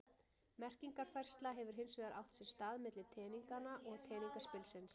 Merkingarfærsla hefur hins vegar átt sér stað milli teninganna og teningaspilsins.